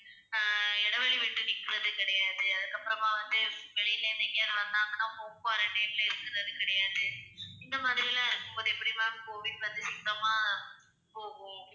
அஹ் இடைவெளி விட்டு நிக்கிறது கிடையாது. அதுக்கப்புறமா வந்து வெளியில இருந்து வந்தாங்கன்னா home quarantine ல இருக்கிறது கிடையாது. இந்த மாதிரி எல்லாம் இருக்கும்போது எப்படி ma'am கோவிட் வந்து சுத்தமா போகும்.